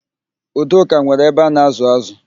Udoka nwere abe a na-ázụ̀ ázụ̀.